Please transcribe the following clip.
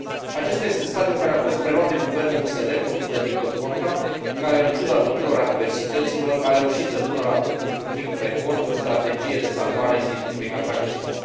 Acesta este stadiul în care a fost preluat de guvernul USL, condus de Victor Ponta, care, în ciuda tuturor adversităților, a reușit să pună la punct, într un timp record o strategie de salvare a Institutului Cantacuzino.